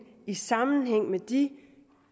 i sammenhæng med de